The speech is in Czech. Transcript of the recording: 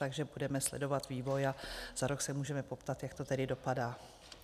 Takže budeme sledovat vývoj a za rok se můžeme poptat, jak to tedy dopadá.